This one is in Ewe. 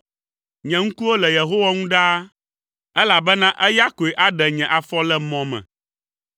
Nye ŋkuwo le Yehowa ŋu ɖaa, elabena eya koe aɖe nye afɔ le mɔ me.